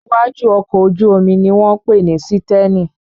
Iwájú ọkọ̀ ojú-omi ní wọ́n pè ní sítẹ̀nì